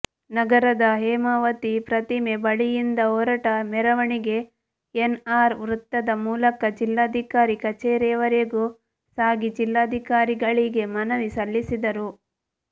ನಗರದ ಹೇಮಾವತಿ ಪ್ರತಿಮೆ ಬಳಿಯಿಂದ ಹೊರಟ ಮೆರವಣಿಗೆ ಎನ್ಆರ್ ವೃತ್ತದ ಮೂಲಕ ಜಿಲ್ಲಾಧಿಕಾರಿ ಕಚೇರಿವರೆಗೂ ಸಾಗಿ ಜಿಲ್ಲಾಧಿಕಾರಿಗಳಿಗೆ ಮನವಿ ಸಲ್ಲಿಸಿದರು